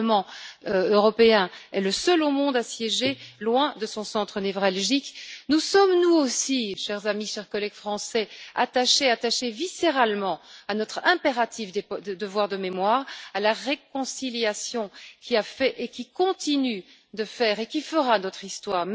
Le Parlement européen est le seul au monde à siéger loin de son centre névralgique. Nous sommes, nous aussi, chers amis, chers collègues français, attachés viscéralement à notre impératif devoir de mémoire et à la réconciliation qui a fait, qui continue de faire et qui fera notre histoire.